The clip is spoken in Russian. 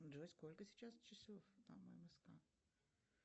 джой сколько сейчас часов по мск